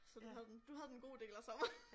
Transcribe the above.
Så du havde den du havde den gode del af sommeren